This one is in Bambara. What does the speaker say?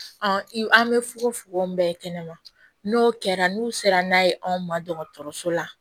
an bɛ fogofogo min bɛɛ kɛnɛ ma n'o kɛra n'u sera n'a ye anw ma dɔgɔtɔrɔso la